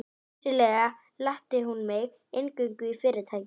Vissulega latti hún mig inngöngu í Fyrirtækið.